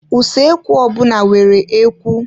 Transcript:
Usoekwu ọbụna nwere ikwe.